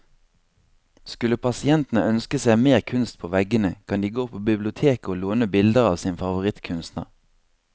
Skulle pasientene ønske seg mer kunst på veggene, kan de gå på biblioteket å låne bilder av sin favorittkunstner.